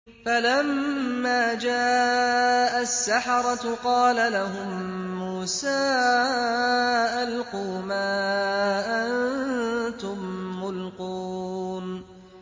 فَلَمَّا جَاءَ السَّحَرَةُ قَالَ لَهُم مُّوسَىٰ أَلْقُوا مَا أَنتُم مُّلْقُونَ